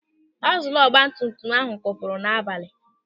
Akzụlụ ọgbatumtum ahụ kwụpụrụ n'abalị m